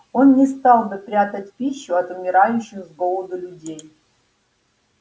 он не стал бы прятать пищу от умирающих с голоду людей